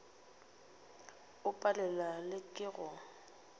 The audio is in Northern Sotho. o palelwa le ke go